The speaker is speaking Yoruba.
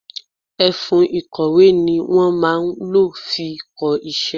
Ẹfun ìkọ̀wé ni wọn máa ń lo fi kọ iṣẹ́.